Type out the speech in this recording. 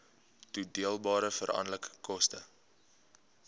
toedeelbare veranderlike koste